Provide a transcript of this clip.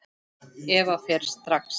Eva fer strax.